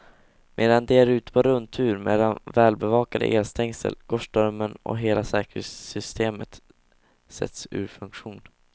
Medan de är ute på rundtur mellan välbevakade elstängsel går strömmen och hela säkerhetssystemet sätts ur funktion.